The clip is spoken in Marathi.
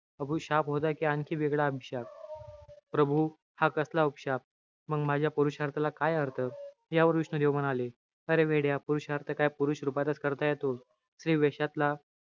हा उपशाप होता कि आणखी वेगळा अभिशाप. प्रभू, हा कसला उपशाप? मंग माझ्या पुरुषार्थाला काय अर्थ? यावर विष्णू देव म्हणाले, अरे वेड्या! पुरुषार्थ काय पुरुष रूपातच करता येतो? स्त्री वेषातला,